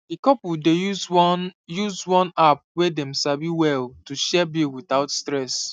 the couple dey use one use one app wey dem sabi well to share bill without stress